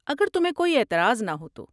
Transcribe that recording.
اگر تمہیں کوئی اعتراض نہ ہو تو۔